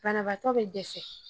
Banabaatɔ be dɛsɛ .